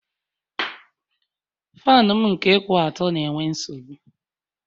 Faanụ m nke kwụ ọtọ na-enwe nsogbụ